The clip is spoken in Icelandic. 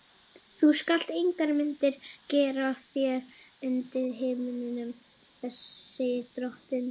Þú skalt engar myndir gera þér undir himninum, segir drottinn.